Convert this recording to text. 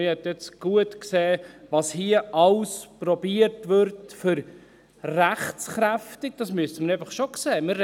Man hat nun gut gesehen, was hier alles versucht wird und dass man hier alles versucht hat, um rechtskräftig – das müssen wir einfach schon sehen: